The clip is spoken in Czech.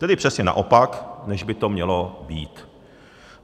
Tedy přesně naopak, než by to mělo být.